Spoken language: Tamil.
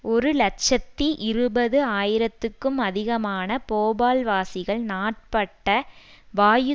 ஒரு இலட்சத்தி இருபது ஆயிரத்துக்கும் அதிகமான போபால்வாசிகள் நாட்பட்ட வாயு